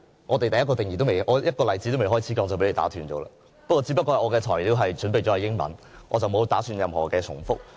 我連一個例子也尚未開始說便被你打斷，只不過我準備了英文演辭，我並不打算重複。